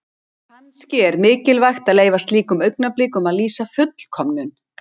Kannski er mikilvægt að leyfa slíkum augnablikum að lýsa fullkomnun.